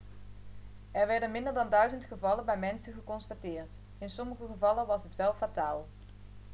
er werden minder dan duizend gevallen bij mensen geconstateerd in sommige gevallen was dit wel fataal